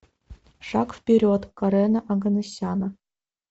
шаг вперед карена оганесяна